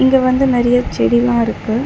இங்க வந்து நெறைய செடிலா இருக்கு.